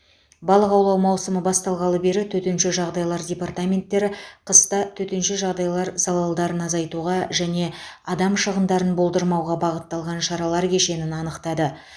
балық аулау маусымы басталғалы бері төтенше жағдайлар департаменттері қыста төтенше жағдайлар залалдарын азайтуға және адам шығындарын болдырмауға бағытталған шаралар кешенін анықтады